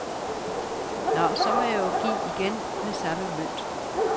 Nå, så må jeg jo give igen med samme mønt.